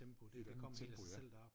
I et andet tempo ja